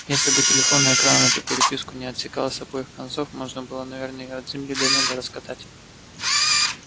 если бы телефонный экран эту переписку не отсекал с обоих концов можно было бы наверное её от земли до неба раскатать